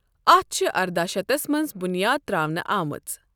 اَتھ چھِ ارداہ شتس مَنٛز بُنیاد تَرٛاونہٕ آمٕژ۔